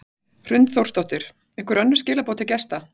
Hrund Þórsdóttir: Einhver önnur skilaboð til gesta?